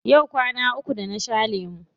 Yau kwana uku da na sha lemu.